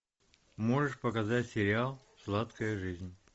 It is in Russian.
можешь показать сериал сладкая жизнь